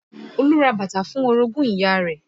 Olú ra bàtà fún orogún ìyá rẹ̀